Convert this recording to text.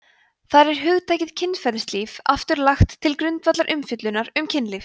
þar er hugtakið kynferðislíf aftur lagt til grundvallar umfjöllunar um kynlíf